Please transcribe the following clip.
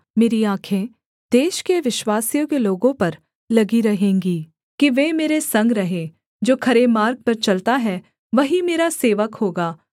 मेरी आँखें देश के विश्वासयोग्य लोगों पर लगी रहेंगी कि वे मेरे संग रहें जो खरे मार्ग पर चलता है वही मेरा सेवक होगा